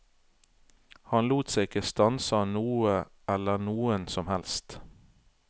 Han lot seg ikke stanse av noe eller noen som helst.